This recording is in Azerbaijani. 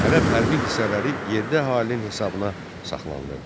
Ərəb hərbi hissələri yerli əhalinin hesabına saxlanılırdı.